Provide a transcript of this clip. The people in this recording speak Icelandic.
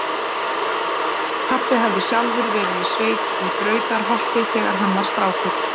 Pabbi hafði sjálfur verið í sveit í Brautarholti þegar hann var strákur.